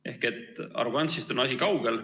Ehk arrogantsist on asi kaugel.